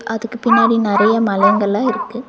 அதுக்கு பின்னாடி நெறைய மலைங்கல்லா இருக்கு.